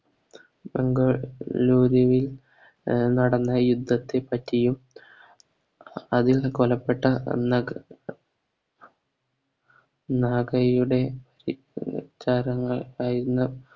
നല്ല രീതിയിൽ നടന്ന യുദ്ധത്തെ പറ്റിയും അതിൽ കൊലപ്പെട്ട നഗ നാഗയുടെ ത്യാഗങ്ങൾ കഴിഞ്ഞ